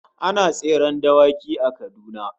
Ana tseren dawaki a Kaduna